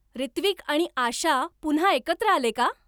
रित्विक आणि आशा पुन्हा एकत्र आले का